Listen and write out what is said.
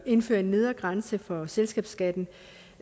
indføre en nedre grænse for selskabsskatten